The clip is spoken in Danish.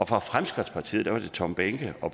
fra fremskridtspartiet var det tom behnke og